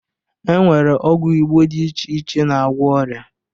E nwere ọgwụ Igbo dị iche iche na-agwọ ọrịa